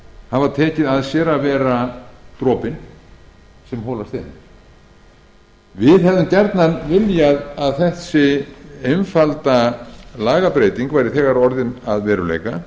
höfum tekið að okkur að vera dropinn sem holar steininn við hefðum gjarnan viljað að þessi einfalda lagabreyting væri þegar orðin að veruleika